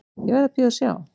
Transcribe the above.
Ég verð að bíða og sjá.